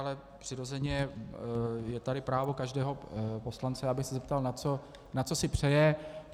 Ale přirozeně je tady právo každého poslance, aby se zeptal, na co si přeje.